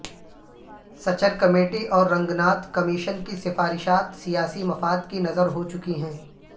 Sachar committee اور Ranganath commission کی سفارشات سیاسی مفاد کی نظر ہوچکی ہیں